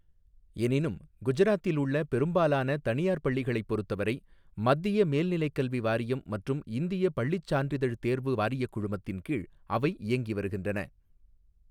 எனினும், குஜராத்தில் உள்ள பெரும்பாலான தனியார் பள்ளிகளைப் பொறுத்தவரை, மத்திய மேல்நிலைக் கல்வி வாரியம் மற்றும் இந்திய பள்ளிச் சான்றிதழ் தேர்வு வாரியக் குழுமத்தின் கீழ் அவை இயங்கிவருகின்றன.